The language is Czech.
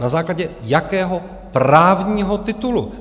Na základě jakého právního titulu?